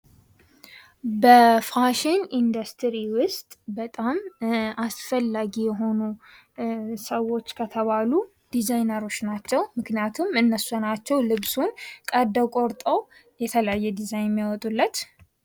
በፋሽን ኢንዱስትሪው ውስጥ በጣም አስፈላጊ የሆኑ ሰዎች ከተባሉ ዲዛይነሮች ናቸው። ምክንያቱም እነሱ ናቸው፤ ልብሱን ቀዶ ቆርጠው የተለያየ ዲዛይን ያወጡለት።